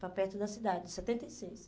Para perto da cidade, em setenta e seis.